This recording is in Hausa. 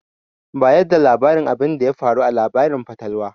Bayar da labarin abinda ya faru a labarin fatalwar.